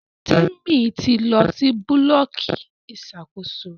Temi tí lọ sì Búlọ̀kì Ìṣàkóso.